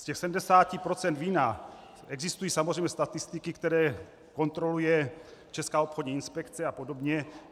Z těch 70 % vína existují samozřejmě statistiky, které kontroluje Česká obchodní inspekce a podobně.